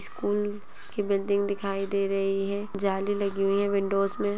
school की building दिखाई दे रही है जाली लगी हुई है विंडो में--